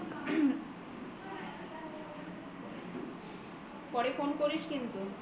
পরে ফোন করিস কিন্তু